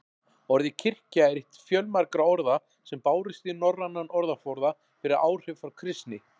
Orðið kirkja er eitt fjölmargra orða sem bárust í norrænan orðaforða fyrir áhrif frá kristni.